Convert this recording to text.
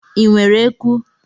Ị nwere eku?